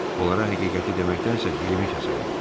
Onlara həqiqəti deməkdənsə dilimi kəsərəm.